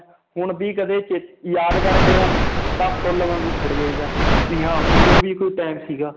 ਹੁਣ ਵੀ ਕਦੇ ਚੇ ਯਾਦ ਕਰਦੇ ਹਾਂ ਤਾਂ ਫੁੱਲ ਵਾਂਗੂ ਖਿੜ ਜਾਈਦਾ ਵੀ ਹਾਂ ਵੀ ਉਹ ਵੀ ਕੋਈ time ਸੀਗਾ l